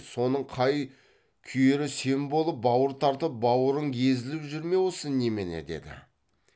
соның қай күйері сен болып бауыр тартып бауырың езіліп жүр ме осы немене деді